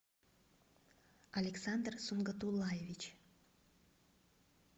александр сунгатуллаевич